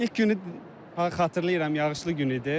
İlk günü xatırlayıram yağışlı günü idi.